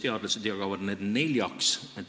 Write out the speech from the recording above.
Teadlased jagavad need neljaks.